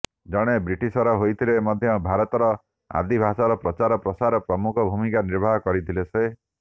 ଜଣେ ବ୍ରିଟିଶର୍ ହୋଇଥିଲେ ମଧ୍ୟ ଭାରତର ଆଦିଭାଷାର ପ୍ରଚାର ପ୍ରସାରରେ ପ୍ରମୁଖ ଭୂମିକା ନିର୍ବାହ କରିଥିଲେ ସେ